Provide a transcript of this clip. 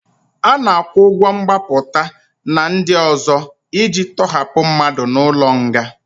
A na-akwụ ụgwọ mgbapụta na ndị ọzọ iji tọhapụ mmadụ n'ụlọ nga.